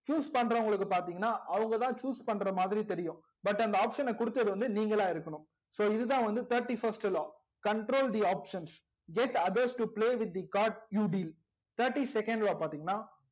choose பன்றோன்களுக்கு பாத்திங்கனா அவங்கதா choose பண்ற மாதிரி தெரியும் but அந்த option குடுத்து நீங்களா இருக்கணும் so தா வந்து thirty first law control the options get others to play with the card thirty second law பாத்திங்கனா